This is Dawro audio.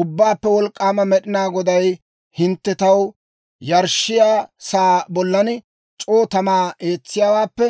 Ubbaappe Wolk'k'aama Med'ina Goday, «Hintte taw yarshshiyaa sa'aa bollan c'oo tamaa eetsiyaawaappe,